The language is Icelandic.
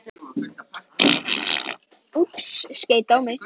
Bentína, er opið í Málinu?